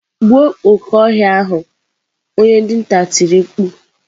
Gbuo oke ohia ahu onye dinta tiri mkpu.